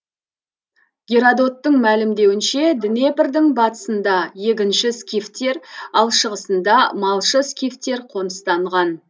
геродоттың мәлімдеуінше днепрдің батысында егінші скифтер ал шығысында малшы скифтер қоныстанған